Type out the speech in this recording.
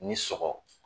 Ni sɔgɔ